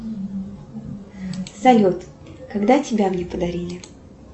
салют когда тебя мне подарили